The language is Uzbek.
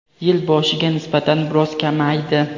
yil boshiga nisbatan biroz kamaydi.